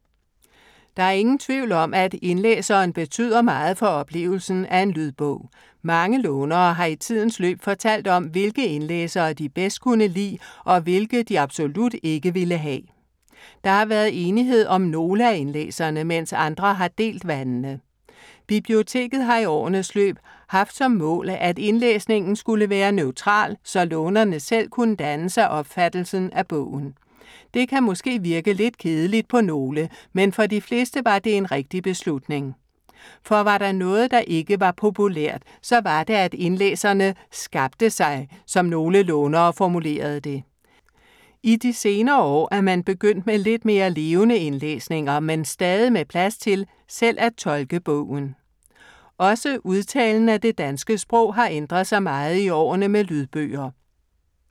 Der er ingen tvivl om, at indlæseren betyder meget for oplevelsen af en lydbog. Mange lånere har i tidens løb fortalt om, hvilke indlæsere de bedst kunne lide og hvilke de absolut ikke ville have. Der har været enighed om nogle af indlæserne, mens andre har delt vandene. Biblioteket har i årenes løb haft som mål, at indlæsningen skulle være neutral, så lånerne selv kunne danne sig opfattelsen af bogen. Det kan måske virke lidt kedeligt på nogle, men for de fleste var det en rigtig beslutning. For var der noget, der ikke var populært, så var det, at indlæserne "skabte sig", som nogle lånere formulerede det. I de senere år er man begyndt med lidt mere levende indlæsninger, men stadig med plads til selv at tolke bogen. Også udtalen af det danske sprog har ændret sig meget i årene med lydbøger.